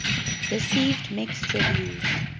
received mixed reviews